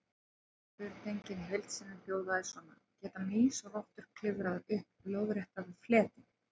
Spurningin í heild sinni hljóðaði svona: Geta mýs og rottur klifrað upp lóðrétta fleti?